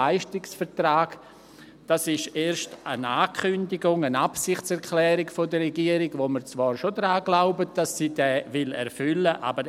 Dies ist erst eine Ankündigung, eine Absichtserklärung der Regierung, bei der wir zwar schon daran glauben, dass sie diese erfüllen will.